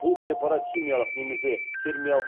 бұл препарат химиялық немесе термиялық